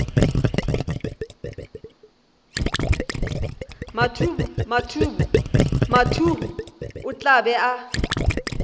mathuhu o tla ba a